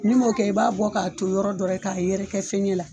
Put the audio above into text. N'i m'o kɛ i b'a bɔ k'a ton yɔrɔ dɔ la k'a yɛrɛkɛ fɔɲɛ la